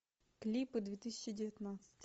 клипы две тысячи девятнадцать